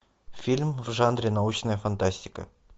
фильм в жанре научная фантастика